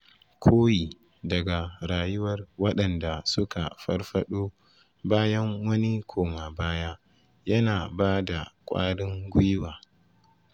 Koyi daga rayuwar waɗanda suka farfaɗo bayan wani koma-baya yana ba da ƙwarin gwiwa.